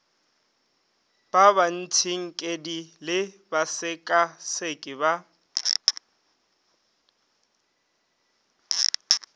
ba batsinkedi le basekaseki ba